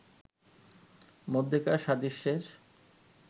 মধ্যেকার সাদৃশ্যের